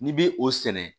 N'i bi o sɛnɛ